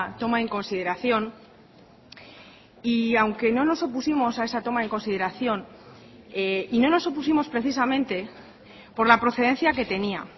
toma en consideración y aunque no nos opusimos a esa toma en consideración y no nos opusimos precisamente por la procedencia que tenía